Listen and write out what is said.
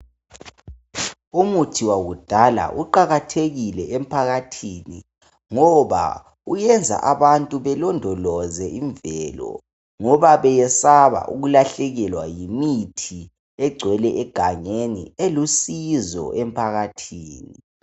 Umuthi wakudala uqakathekile emphakathini ngoba uyenza abantu belondoloze imvelo ngoba beyesaba ukulahlekelwa yimithi egcwele egangeni elusizo emphakathini.